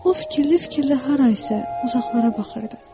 O fikirli-fikirli harasa uzaqlara baxırdı.